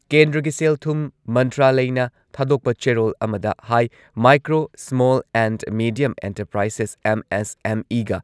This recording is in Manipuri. ꯀꯦꯟꯗ꯭ꯔꯒꯤ ꯁꯦꯜ ꯊꯨꯝ ꯃꯟꯇ꯭ꯔꯥꯂꯢꯅ ꯊꯥꯗꯣꯛꯄ ꯆꯦꯔꯣꯜ ꯑꯃꯗ ꯍꯥꯏ micro small and medium enterprises ꯑꯦꯝ.ꯑꯦꯁ.ꯑꯦꯝ.ꯏꯒ